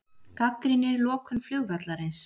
Gagnrýnir lokun flugvallarins